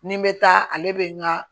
Ni n bɛ taa ale bɛ n ka